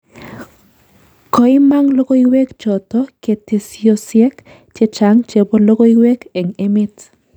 Koimang' logoiwek choto ketesyosek chechaang' chebo logoiywek eng' emeet